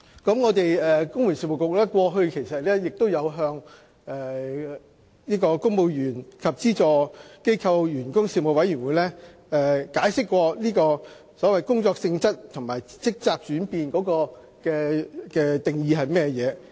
公務員事務局過去亦曾向立法會公務員及資助機構員工事務委員會解釋，所謂工作性質和職責轉變的定義。